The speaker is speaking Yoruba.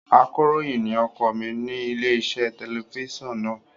Akọ̀ròyìn ni ọkọ mi ní ilé-iṣẹ́ tẹlifíṣàn náà.